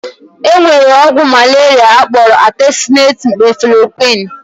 E nwere ọgwụ malaria akpọrọ atesunet-meflokwuin.